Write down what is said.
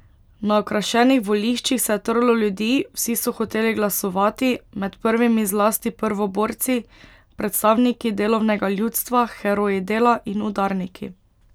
Na okrašenih voliščih se je trlo ljudi, vsi so hoteli glasovati, med prvimi zlasti prvoborci, predstavniki delovnega ljudstva, heroji dela in udarniki.